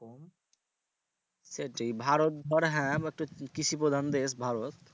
সেইটি ভারত ধর হ্যাঁ বা তোর কৃষিপ্রধান দেশ ভারত